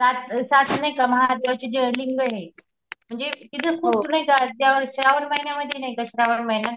सात सातशे नाहीका महादेवाचे जे लिंगये म्हणजे तिथं खूप नाहीका देवाचे श्रावण महिन्यामधीं नाहीका श्रावण महिना